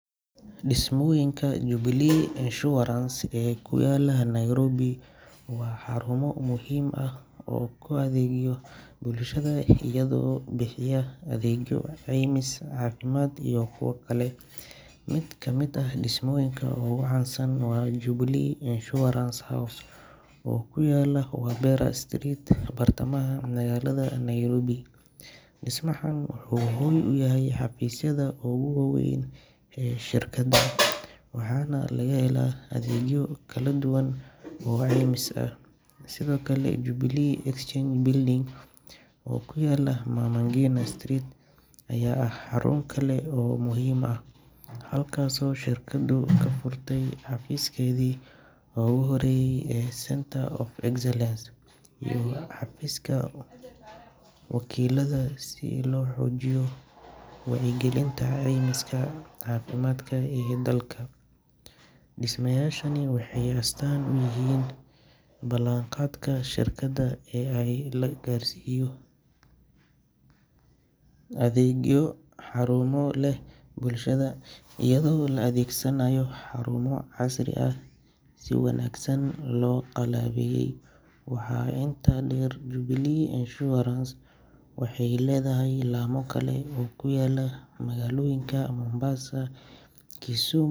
Dhismooyinka Jubilee Insurance ee ku yaalla Nairobi waa xarumo muhiim ah oo u adeegaya bulshada iyadoo bixiya adeegyo caymis caafimaad iyo kuwo kale. Mid ka mid ah dhismooyinka ugu caansan waa Jubilee Insurance House, oo ku yaalla Wabera Street, bartamaha magaalada Nairobi. Dhismahan wuxuu hoy u yahay xafiisyada ugu waaweyn ee shirkadda, waxaana laga helaa adeegyo kala duwan oo caymis ah. Sidoo kale, Jubilee Exchange Building, oo ku yaalla Mama Ngina Street, ayaa ah xarun kale oo muhiim ah, halkaasoo shirkaddu ka furtay xafiiskeedii ugu horreeyay ee Center of Excellence iyo xafiiska wakiillada, si loo xoojiyo wacyigelinta caymiska caafimaadka ee dalka. Dhismayaashani waxay astaan u yihiin ballanqaadka shirkadda ee ah in la gaarsiiyo adeegyo tayo leh bulshada, iyadoo la adeegsanayo xarumo casri ah oo si wanaagsan loo qalabeeyay. Waxaa intaa dheer, Jubilee Insurance waxay leedahay laamo kale oo ku kala yaalla magaalooyinka Mombasa, Kisu.